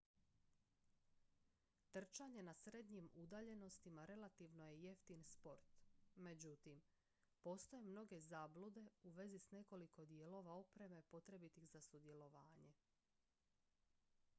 trčanje na srednjim udaljenostima relativno je jeftin sport međutim postoje mnoge zablude u vezi s nekoliko dijelova opreme potrebnih za sudjelovanje